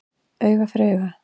Auga fyrir auga